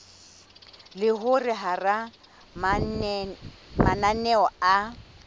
le hore hara mananeo a